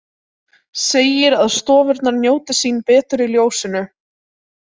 Segir að stofurnar njóti sín betur í ljósinu.